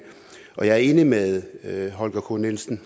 jeg er enig med herre holger k nielsen